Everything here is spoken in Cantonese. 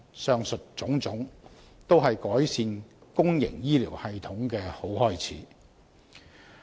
上述種種，均是改善公營醫療系統的好開始。